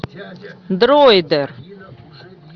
дроидер